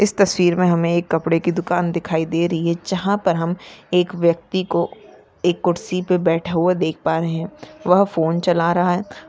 इस तस्वीरमें हमे एक कपड़े की दुकान दिखाई दे रही है जहा पर हम एक व्यक्ति को एक खुर्ची पर बैठा हुआ देख पा रहे है वह फोन चला रहा है।